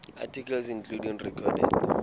articles including recorded